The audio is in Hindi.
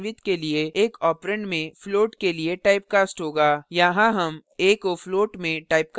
यहाँ हम a को float में typecast कर रहे हैं c में अब real division की value संग्रहीत है